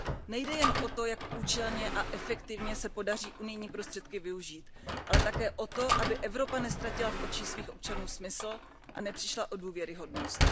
Nejde jen o to, jak účelně a efektivně se podaří unijní prostředky využít, ale také o to, aby Evropa neztratila v očích svých občanů smysl a nepřišla o důvěryhodnost.